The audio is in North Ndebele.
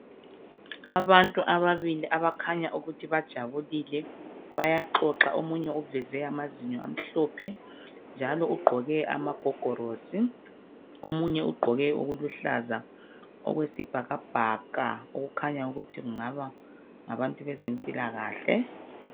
Abantu ababili abakhanya ukuthi bajabulile bayaxoxa omunye uveze amazinyo amhlophe njalo ugqoke amagogorosi omunye ugqoke okuluhlaza okwesibhakabhaka okukhanya ukuthi kungaba ngabantu bezempilakahle